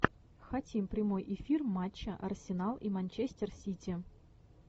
хотим прямой эфир матча арсенал и манчестер сити